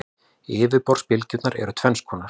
Yfirborðsbylgjurnar eru tvenns konar.